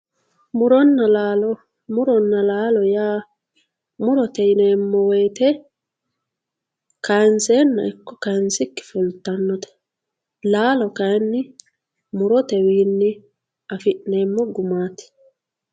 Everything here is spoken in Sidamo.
Muronna lalo murinna lalo ya murote yinemo woyite kayinsenna iko kayisikinni fulitanotte lalo kayinni murotenni afinemo gumatti